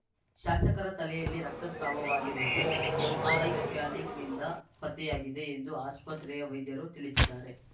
ಶಾಸಕರ ತಲೆಯಲ್ಲಿ ರಕ್ತಸ್ರಾವವಾಗಿರುವುದು ಎಂಆರ್‌ಐ ಸ್ಕ್ಯಾನಿಂಗ್ ನಿಂದ ಪತ್ತೆಯಾಗಿದೆ ಎಂದು ಆಸ್ಪತ್ರೆಯ ವೈದ್ಯರು ತಿಳಿಸಿದ್ದಾರೆ